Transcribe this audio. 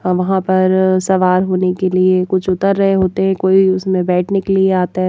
अवहां पर सवार होने के लिए कुछ उतर रहे होते हैं कोई उसमें बैठने के लिए आता है।